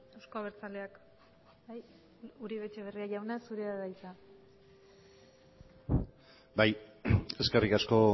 euzko abertzaleak bai uribe etxebarria jauna zure da hitza bai eskerrik asko